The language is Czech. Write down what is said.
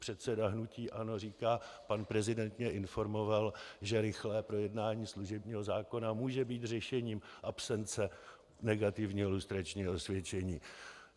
Předseda hnutí ANO říká "pan prezident mě informoval, že rychlé projednání služebního zákona může být řešením absence negativního lustračního osvědčení".